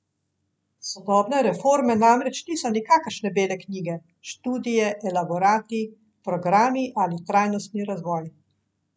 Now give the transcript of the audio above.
Sodobne reforme namreč niso nikakršne bele knjige, študije, elaborati, programi ali trajnostni razvoj.